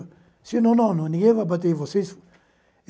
Disseram, não, não, ninguém vai bater em vocês.